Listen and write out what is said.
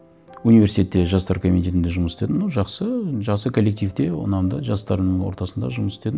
университетте жастар комитетінде жұмыс істедім ну жақсы енді жақсы коллективте ұнады жастардың ортасында жұмыс істедім